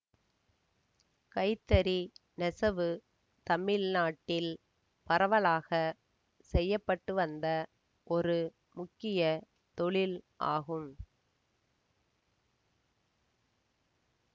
கைத்தறி நெசவு தமிழ் நாட்டில் பரவலாக செய்யப்பட்டுவந்த ஒரு முக்கிய தொழில் ஆகும்